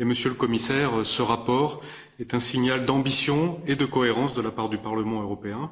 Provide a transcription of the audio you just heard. Monsieur le Commissaire, ce rapport est un signal d'ambition et de cohérence de la part du Parlement européen.